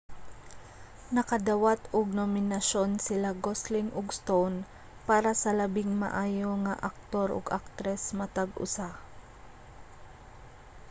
nakadawat og nominasyon sila gosling ug stone para sa labing maayo nga aktor ug aktres matag usa